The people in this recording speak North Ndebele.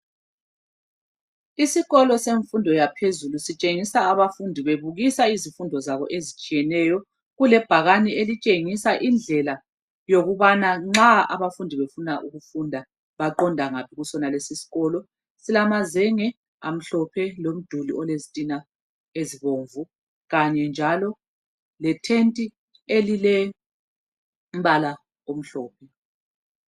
Isikolo semfundo yaphezulu sitshengisa abafundi bebukisa izifundo zabo ezitshiyeneyo. Kulebhakani elitshengisa indlela yokubana nxa abafundi befuna ukufunda baqonda ngaphi kusonalesi isikolo. Silamazenge amhlophe. Lomduli olezitina ezibomvu, kanye njalo, lethenti elilombala omhlophe.